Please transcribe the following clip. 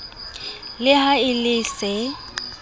le ha e le se